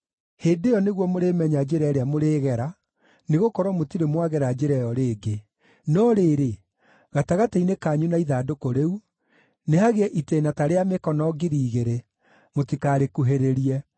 Hĩndĩ ĩyo nĩguo mũrĩmenya njĩra ĩrĩa mũrĩĩgera, nĩgũkorwo mũtirĩ mwagera njĩra ĩyo rĩngĩ. No rĩrĩ, gatagatĩ-inĩ kanyu na ithandũkũ rĩu, nĩhagĩe itĩĩna ta rĩa mĩkono ngiri igĩrĩ ; mũtikarĩkuhĩrĩrie.”